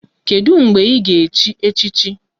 Kedụ mgbe ị ga-echi echichi?